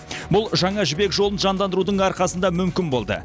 бұл жаңа жібек жолын жандандырудың арқасында мүмкін болды